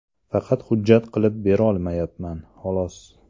Faqat hujjat qilib berolmayapman, xolos.